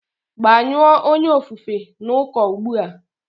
Gbanyụọ onye ofufe n'uko ugbu a!